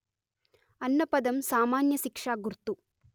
అన్న పదం సామాన్య శిక్షా గుర్తు